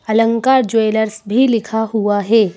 अलंकार ज्वेलर्स भी लिखा हुआ है।